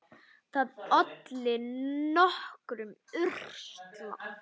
Það olli nokkrum usla.